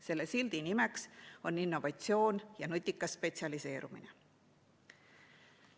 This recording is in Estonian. Selle sildi nimi on innovatsioon ja nutikas spetsialiseerumine.